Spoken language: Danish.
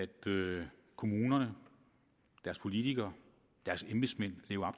kommunerne deres politikere deres embedsmænd lever